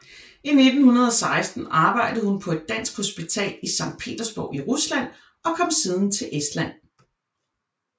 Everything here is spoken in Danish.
I 1916 arbejdede hun på et dansk hospital i Sankt Petersborg i Rusland og kom siden til Estland